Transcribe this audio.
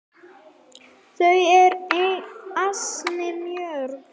Þau eru ansi mörg.